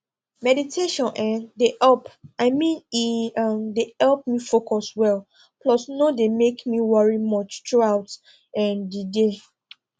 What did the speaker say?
meditation[um]dey help i mean e um dey help me focus well plus no dey make me worry much throughout um the day